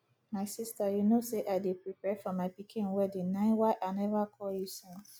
my sister you no say i dey prepare for my pikin wedding na why i never call you since